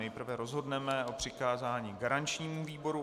Nejprve rozhodneme o přikázání garančnímu výboru.